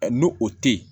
N'o o tɛ yen